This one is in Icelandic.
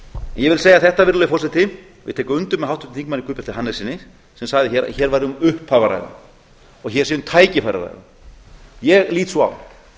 ég vil segja þetta virðulegi forseti og ég tek undir með háttvirtum þingmanni guðbjarti hannessyni sem sagði hér að hér væri um upphaf að ræða og hér sé um tækifæri að ræða ég lít svo á